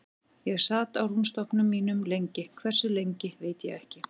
Ég sat á rúmstokknum mínum lengi, hversu lengi veit ég ekki.